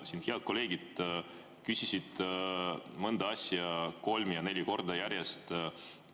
Siin head kolleegid küsisid mõnda asja kolm ja neli korda järjest.